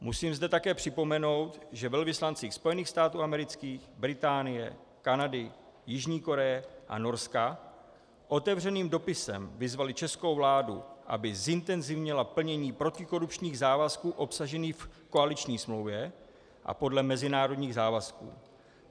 Musím zde také připomenout, že velvyslanci Spojených států amerických, Británie, Kanady, Jižní Koreje a Norska otevřeným dopisem vyzvali českou vládu, aby zintenzivnila plnění protikorupčních závazků obsažených v koaliční smlouvě a podle mezinárodních závazků.